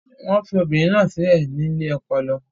Wọ́n fi obìnrin náà sílẹ̀ ní ilé ọpọlọ.